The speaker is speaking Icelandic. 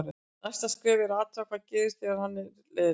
Næsta skrefið er að athuga hvað gerist þegar hann er leiðinlegur.